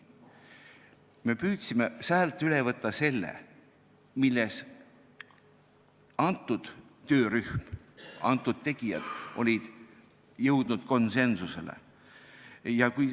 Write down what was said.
Me püüdsime sealt üle võtta selle, milles vastav töörühm, vastavad tegijad, olid konsensusele jõudnud.